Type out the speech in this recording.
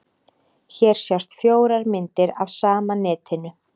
Hér sjást fjórar myndir af sama netinu.